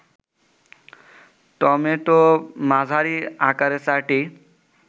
tomato মাঝারি আকারের ৪টি